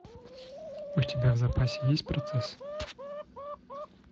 у тебя в запасе есть процесс